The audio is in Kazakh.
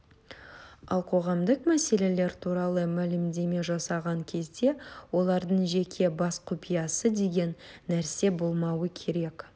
ал қоғамдық мәселелер туралы мәлімдеме жасаған кезде олардың жеке бас құпиясы деген нәрсе болмауы керек